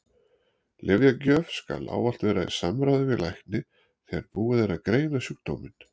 Lyfjagjöf skal ávallt vera í samráði við lækni þegar búið er að greina sjúkdóminn.